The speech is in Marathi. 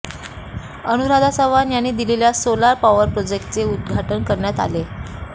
अनुराधा चव्हाण यांनी दिलेल्या सोलार पॉवर प्रोजेक्टचे उद्घाटन करण्यात आले